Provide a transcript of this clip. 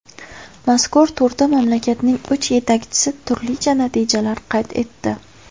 Mazkur turda mamlakatning uch yetakchisi turlicha natijalar qayd etdi.